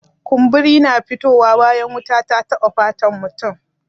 Kumburi na fito wa bayan wuta ta taɓa fatan mutum